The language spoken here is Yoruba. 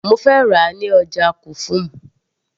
mo fẹ́ rà á ní ọjà kufum